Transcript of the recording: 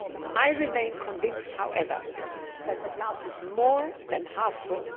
I remain convinced, however, that the glass is more than half full.